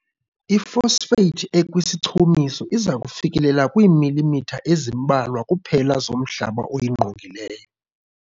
I-phosphate ekwisichumiso iza kufikelela kwiimilimitha ezimbalwa kuphela zomhlaba oyingqongileyo.